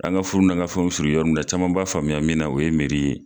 An ga furuw n'an ga fɛn be siri wɔrɔ min na caman b'a faamuya min na o ye meri ye